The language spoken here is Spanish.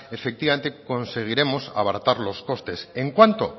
efectivamente conseguiremos abaratar los costes en cuánto